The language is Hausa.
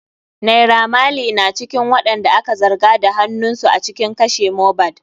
Naira maley na cikin waɗanda aka zarga da hanunsu a cikin kashe Mohbad.